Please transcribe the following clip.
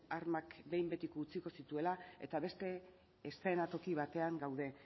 armak behin betiko utziko zituela eta beste eszenatoki batean gaude